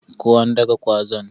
Ko an daka gwazan?